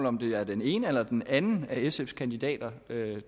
om det er den ene eller den anden af sfs kandidater